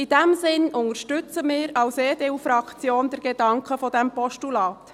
In diesem Sinne unterstützen wir als EDU-Fraktion den Gedanken dieses Postulats.